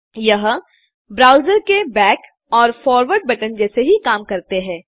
यह ब्राउजर के बैक और फॉरवर्ड बटन जैसे ही काम करते हैं